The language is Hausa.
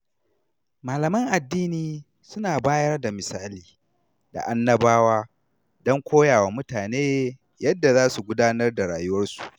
Malaman addini suna bayar da misali da annabawa don koya wa mutane yadda za su gudanar da rayuwarsu.